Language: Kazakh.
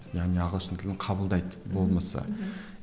яғни ағылшын тілін қабылдайды болмысы мхм